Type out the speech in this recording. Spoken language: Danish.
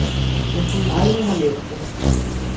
Jeg skulle aldrig have nævnt det.